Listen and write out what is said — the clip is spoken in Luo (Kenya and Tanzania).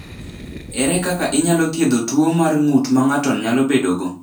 Ere kaka inyalo thiedh tuo mar ng’ut ma ng’ato nyalo bedogo?